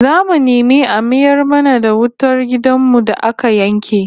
Zamu nemi a mayar mana da wutar gidan mu da aka yanke